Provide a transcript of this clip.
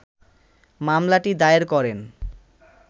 মামলাটি দায়ের করেন